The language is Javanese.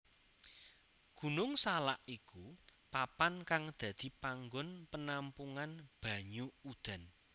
Gunung Salak iku papan kang dadi panggon penampungan banyu udan